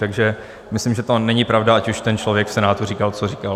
Takže myslím, že to není pravda, ať už ten člověk v Senátu říkal co říkal.